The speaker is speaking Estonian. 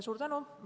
Suur tänu!